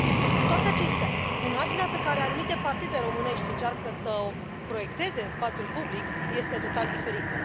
Cu toate acestea, imaginea pe care anumite partide românești încearcă să o proiecteze în spațiul public este total diferită.